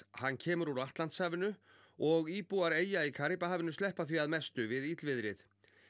hann kemur úr Atlantshafinu og íbúar eyja í Karíbahafinu sleppa því að mestu við illviðrið